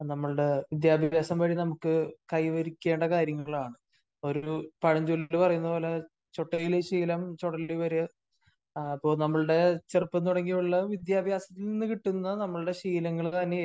നമ്മളുടെ വിദ്യാഭ്യാസം വഴി നമുക്ക് കൈവരിക്കേണ്ട കാര്യങ്ങളാണ്. ഒരു പഴഞ്ചൊല്ല് പറയുന്നത്പോലെ ചൊട്ടയിലെ ശീലം ചുടലവരെ. അപ്പോ നമ്മളുടെ ചെറുപ്പം തുടങ്ങിയുള്ള വിദ്യാഭ്യാസത്തിൽ നിന്നു കിട്ടുന്ന നമ്മളുടെ ശീലങ്ങൾ തന്നെ ആയിരിക്കും